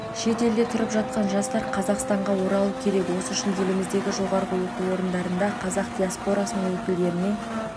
шетелде тұрып жатқан жастар қазақстанға оралу керек осы үшін еліміздегі жоғарғы оқу орындарында қазақ диаспорасының өкілдеріне